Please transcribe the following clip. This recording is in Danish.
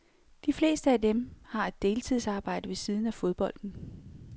De fleste af dem, har et deltidsarbejde ved siden af fodbolden.